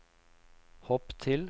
hopp til